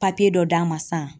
Papiye dɔ d'a ma san.